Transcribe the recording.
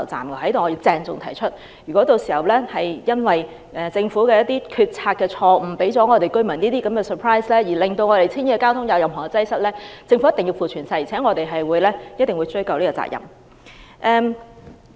我在此要鄭重聲明，如果屆時因為政府決策錯誤，為市民帶來這種 surprise， 導致青衣的交通嚴重擠塞，政府必須負全責，我們亦必定追究政府責任。